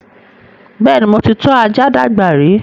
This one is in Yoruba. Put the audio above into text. Bẹ́ẹ̀ni, mo ti tọ́ ajá dàgbà rí